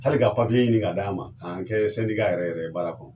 Hali ka ɲini ka d'an ma k'an kɛ yɛrɛ yɛrɛ ye baara kɔnɔ.